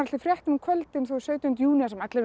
fréttum á kvöldin á sautjánda júní þar sem allir voru